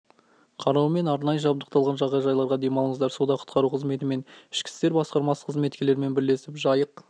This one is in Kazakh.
қарауымен арнайы жабдықталған жағажайларда демалыңыздар суда құтқару қызметі мен ішкі істер басқармасы қызметкерлерімен бірлесіп жайық